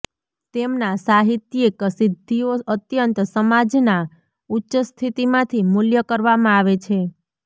તેમના સાહિત્યિક સિદ્ધિઓ અત્યંત સમાજના ઉચ્ચ સ્થિતીમાંથી મૂલ્ય કરવામાં આવે છે